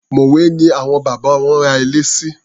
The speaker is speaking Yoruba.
Mòwé ni àwọn bàbá wọn ra ilẹ̀ sí.